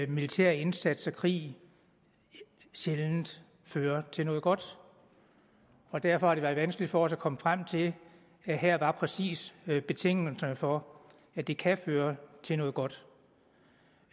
militær indsats og krig sjældent fører til noget godt derfor har det været vanskeligt for os at komme frem til at her var præcis betingelserne for at det kan føre til noget godt